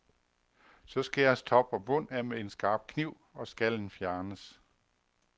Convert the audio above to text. Så skæres top og bund af med en skarp kniv, og skallen fjernes.